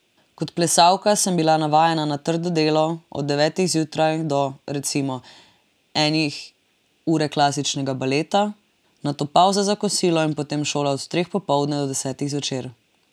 Kot plesalka sem bila navajena na trdo delo, od devetih zjutraj do, recimo, enih ure klasičnega baleta, nato pavza za kosilo in potem šola od treh popoldne do desetih zvečer.